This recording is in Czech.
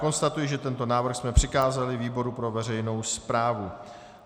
Konstatuji, že tento návrh jsme přikázali výboru pro veřejnou správu.